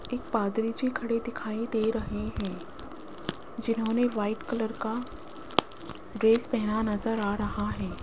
एक पादरी जी की खड़े दिखाई दे रहे हैं जिन्होंने व्हाइट कलर का ड्रेस पहना नजर आ रहा है।